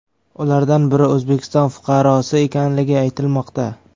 Ulardan biri O‘zbekiston fuqarosi ekanligi aytilmoqda .